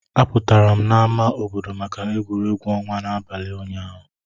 Apụtara m na ámá obodo maka egwuregwu ọnwa n'abalị ụnyaahụ.